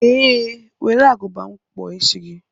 Ee were Agụba m kpụọ isi gị.